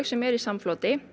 sem eru í samfloti